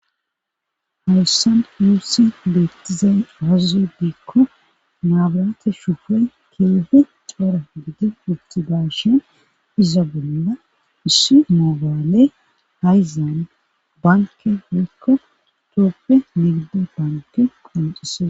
Hawussan yuussi leettizay azuzu diikko naabarate shufe keeehe coora giidi ubti dashen iza bonuda issu maabaale hayzaan banke hoykko tooppe migdo banke qonxise.